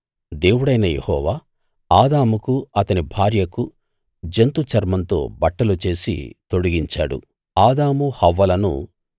దేవుడైన యెహోవా ఆదాముకు అతని భార్యకు జంతు చర్మంతో బట్టలు చేసి తొడిగించాడు